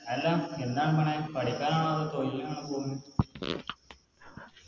എല്ലാ എന്താണ് പോണെ പഠിപ്പെന്നെ ആണോ അതോ തൊഴിലിനാണോ പോണ്